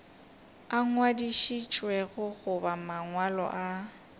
a ngwadišitšwego goba mangwalo a